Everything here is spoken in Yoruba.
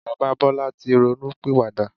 Bàbá Bọlá tí ronú pìwà dà.